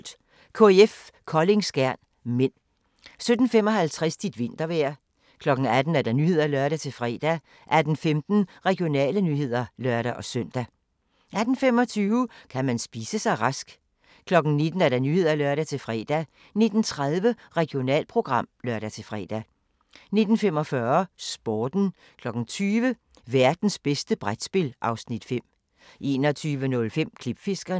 16:50: Håndbold: KIF Kolding-Skjern (m) 17:55: Dit vintervejr 18:00: Nyhederne (lør-fre) 18:15: Regionale nyheder (lør-søn) 18:25: Kan man spise sig rask? 19:00: Nyhederne (lør-fre) 19:30: Regionalprogram (lør-fre) 19:45: Sporten 20:00: Værtens bedste brætspil (Afs. 5) 21:05: Klipfiskerne